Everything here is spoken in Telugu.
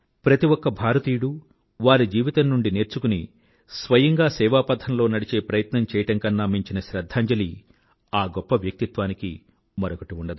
ప్రతి ఒక భారతీయుడూ వారి జీవితం నుండి శిక్షణ పొంది స్వయంగా సేవాపథంలో నడిచే ప్రయత్నం చెయ్యడం కన్నా మించిన శ్రధ్ధాంజలి ఆ గొప్ప వ్యక్తిత్వానికి మరొకటి ఉండదు